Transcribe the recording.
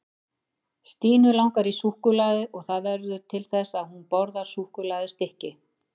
Stínu langar í súkkulaði og það verður til þess að hún borðar súkkulaðistykki.